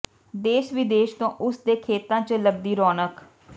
ਦੇਸ਼ ਵਿਦੇਸ਼ ਤੋਂ ਉਸ ਦੇ ਖੇਤਾਂ ਚ ਲੱਗਦੀ ਰੌਣਕ